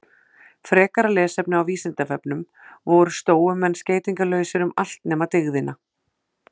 Frekara lesefni á Vísindavefnum: Voru stóumenn skeytingarlausir um allt nema dygðina?